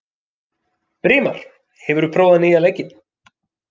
Brimar, hefur þú prófað nýja leikinn?